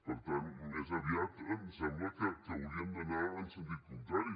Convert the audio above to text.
per tant més aviat em sembla que hauríem d’anar en sentit contrari